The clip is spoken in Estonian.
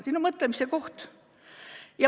Siin on mõtlemise koht.